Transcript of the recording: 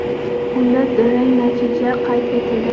Unda durang natija qayd etildi.